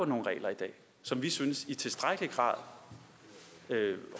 nogle regler i dag som vi synes i tilstrækkelig grad